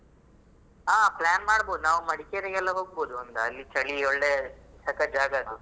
ಹಾ plan ಮಾಡ್ಬಹುದ್ ನಾವ್ ಮಡಿಕೇರಿಗೆಲ್ಲ ಹೋಗಬಹುದು ಅಲ್ಲಿ ಚಳಿ ಒಳ್ಳೆ ಸಕ್ಕತ್ ಜಾಗ ಅದು